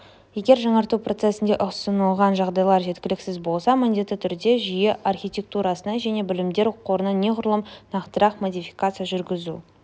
егер жаңарту процесінде ұсынылған жағдайлар жеткіліксіз болса міндетті түрде жүйе архитектурасына және білімдер қорына неғұрлым нақтырақ модификация жүргізу